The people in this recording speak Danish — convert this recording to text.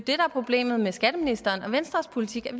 er problemet med skatteministeren og venstres politik er